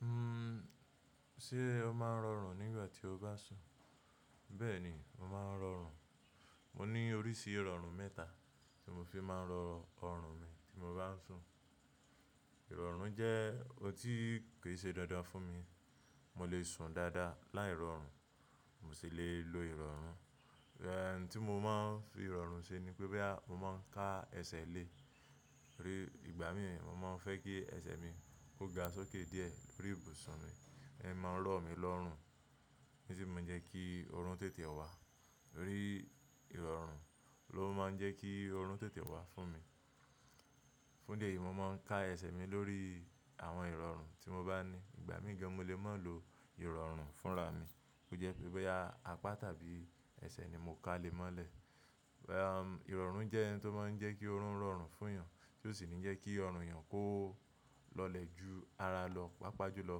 Uhm, sé o máa ń rọrùn nígbà tí o bá sùn? Bẹ́ẹ̀ ni, mo máa ń rọrùn. Mo ní oríṣi ìrọ̀rùn mẹ́ta tí mo fi máa ń rọ ọrùn mi tí mo bá sùn. Ìrọ̀rùn jẹ́ ohun tí kì í ṣe dandan fún mi. Mo lè sùn dáadáa láì rọrùn, mo sì le lo ìrọrùn. Ẹ̀hẹ̀ tí mo máa ń fi ìrọ̀rùn ṣe ni pé bóyá mo máa ń ka ẹsẹ̀ le. Rí ìgbà mí, mo máa ń fẹ́ kí ẹsẹ̀ mi ó ga sókè díẹ̀ lórí ibùsùn mi, ẹ́ máa ń rọ̀ mí lọ́rùn, ní sì máa ń jẹ́ kí ọrùn tètè wá. Rí ìrọ̀rùn ló máa ń jẹ́ kí ọrùn tètè wá fún mi. Fún dé yìí mo máa ń ka ẹsẹ̀ mi lórí àwọn ìrọ̀rùn tí mo bá ní. Ìgbà mí ìgàn mo lè máa lo ìrọ̀rùn fúnra mi. Ó jẹ́ pé bóyá apá tàbí ẹsẹ̀ ni mo ka lé mọ́lẹ̀. Ẹ̀hẹ̀m ìrọ̀rùn jẹ́ ohun tó máa ń jẹ́ kí ọrùn rọrùn fún èèyàn, tí ó sì ní jẹ́ kí ọrùn èèyàn kó lọlẹ̀ ju ara lọ, pàápàá jùlọ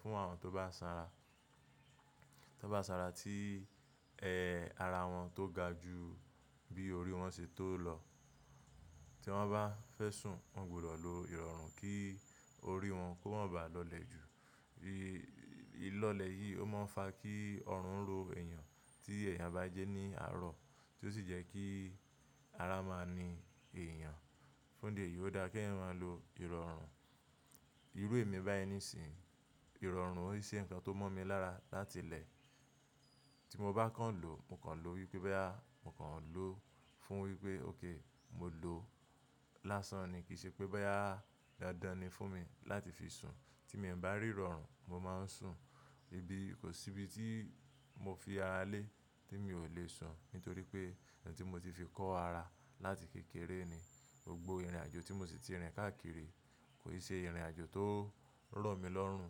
fún àwọn tó bá sanra, tó bá sanra tí, ẹ́hẹ̀ ara wọn tó ga ju bí orí wọn ṣe tó lọ. Tí wọ́n bá fẹ́ sùn, wọ́n gbọdọ̀ lo ìrọ̀rùn kí orí wọn kó má ba lọlẹ̀ ju. Bí-- ìlọlẹ̀ yìí ó máa ń fa kí ọrùn ro èèyàn tí èèyàn bá jẹ́ ní àárọ̀, tí ó sì jẹ́ kí ara máa ni èèyàn. Fún ìdí èyìí ó dáa kí èèyàn lo ìrọ̀rùn. Irú èmi bá yẹn ní sì, ìrọ̀rùn ò ṣe ǹkan tó mọ́ mi lára láti ilẹ̀. Tí mo bá kàn lo, mo kàn lo wípé bóyá mo kàn lo fún wípé óké mo lo lásán ni. Kì í ṣe pé bóyá dandan ni fún mi láti fi sùn. Tí mi o bá rí ìrọ̀rùn, mo máa ń sùn. Ibi, kò sí ibi tí mo fi ara lé tí mi ò lè sùn nítorí pé ohun tí mo ti fi kọ́ ara láti kékeré ni. Gbogbo ìrìnàjò tí mo sì ti rìn káàkiri kò ṣe ìrìnàjò tó rọ̀ mí lọ́rùn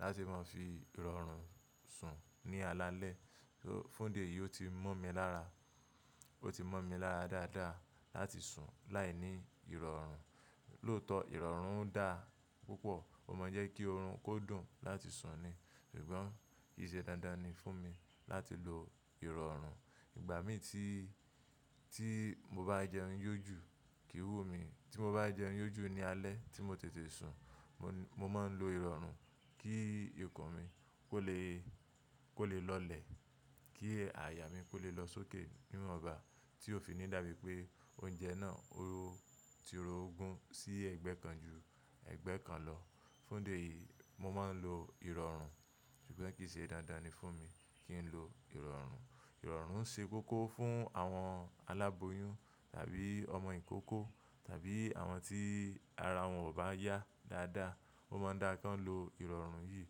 láti máa fi ìrọ̀rùn sùn ní alaalẹ́. Fún ìdí èyí ó ti mọ́ mi lára, ó ti mọ́ mi lára dáadáa láti sùn láìní ìrọ̀rùn. Lóòótọ́ ìrọ̀rùn dá púpọ̀, ó máa ń jẹ́ kí ọrùn kó dùn láti sùn ni. Ṣùgbọ́n kì í ṣe dáadáa ni fún mi láti lo ìrọ̀rùn. Ìgbà mí tí, tí mo bá jẹun yójú kìí wù mi. Tí mo bá jẹun yójú ní alẹ́ tí mo tètè sùn, mo, mo máa ń lo ìrọ̀rùn kí ikùn mi kó lè, kó lè lọlẹ̀, kí àyà mí kó lè lọ sókè níwọ̀nba tí ó fi ní dà mí pé oúnjẹ náà ó ti ro ogún sí ẹ̀gbẹ́ kan ju ẹ̀gbẹ́ kan lọ. Fún dé yìí mo máa ń lo ìrọ̀rùn, ṣùgbọ́n kì í ṣe dáadáa ni fún mi kí n lo ìrọ̀rùn. Ìrọ̀rùn ṣe kókó fún àwọn aláboyún tàbí ọmọ ìkókó tàbí àwọn tí ara wọn ò bá yá dáadáa. Ó máa ń dáa kí wọ́n lo ìrọ̀rùn yìí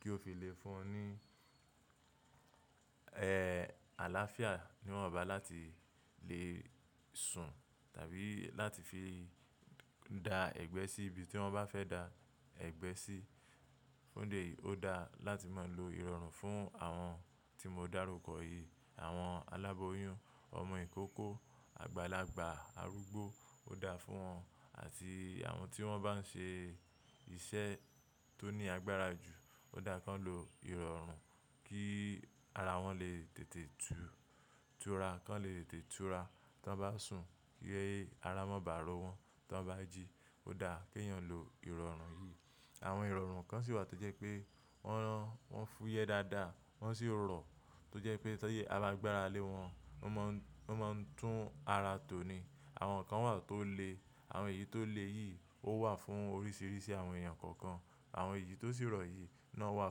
kí ó fi lè fún un ní, ẹ́hẹ̀ àlàáfíà mímọ̀ ọba láti lè sùn tàbí láti fi da ẹgbẹ́ sí ibi tí wọ́n bá fẹ́ da ẹgbẹ́ sí. Fún ìdí èyí ó dáa láti máa lo ìrọ̀rùn fún àwọn tí mo dárúkọ yìí. Àwọn aláboyún, ọmọ ìkókó, àgbàlagbà, arúgbó ó dáa fún wọn àti àwọn tí wọ́n bá ń ṣe iṣẹ́ tó ní agbára jù ó dáa kí wọ́n lo ìrọ̀rùn kí ara wọn lè tètè túra, kí wọn lè tètè túra. Tí wọ́n bá sùn kí ara má bàa rọ wọ́n tí wọ́n bá jí. Ó dáa kí èèyàn lo ìrọ̀rùn yìí. Àwọn ìrọ̀rùn kan sì wà tó jẹ́ pé wọ́n, wọ́n fúyẹ́ dáadáa wọ́n sì rọ̀, tó jẹ́ pé tó ṣe a bá gbára lé wọn, wọ́n má ń, wọ́n má ń tún ara tò ni. Àwọn kan wà tó le. Àwọn èyí tó le yìí ó wà fún oríṣìíríṣìí àwọn èèyàn kọ̀ọ̀kan. Àwọn èyí tó sì rọ̀ yìí náà wà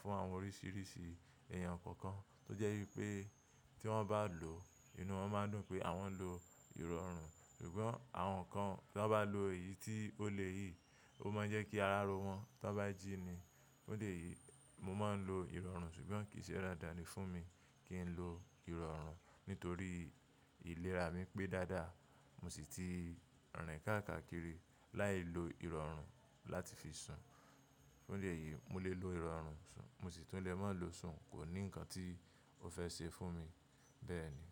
fún àwọn oríṣìíríṣìí èèyàn kọ̀ọ̀kan, tó jẹ́ wípé tí wọ́n bá lò ó, inú wọn má ń dùn pé àwọn lo ìrọ̀rùn. Ṣùgbọ́n àwọn kan tí wọ́n bá lo èyí tí ó le yìí ó máa ń jẹ́ kí ara rọ wọ́n tí wọ́n bá jí ni. Fún dé yìí mo máa ń lo ìrọ̀rùn ṣùgbọ́n kì í ṣe dáadáa ni fún mi kí n lo ìrọ̀rùn nítorí ìlera mi pé dáadáa. Mo sì ti rìn káàkiri láì lo ìrọ̀rùn láti fi sùn. Fún dé yìí mo lè lo ìrọ̀rùn sùn, mo sì tún lè má lo sùn, kò ní ǹkan tí ó fẹ́ ṣe fún mi. Bẹ́ẹ̀ ni.